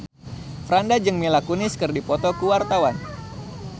Franda jeung Mila Kunis keur dipoto ku wartawan